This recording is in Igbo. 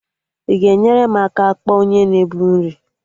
Ị ga-enyere m aka kpọọ onye na-ebu nri?